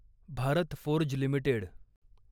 Bharat Forge limited